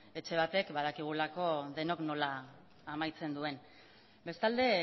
etxe batek badakigulako denok nola amaitzen duen bestalde